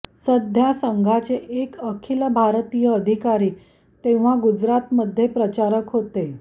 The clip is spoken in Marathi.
सध्या संघाचे एक अखिल भारतीय अधिकारी तेव्हा गुजरातमध्ये प्रचारक होते